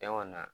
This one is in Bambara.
Cɛn kɔni na